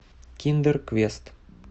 киндер квест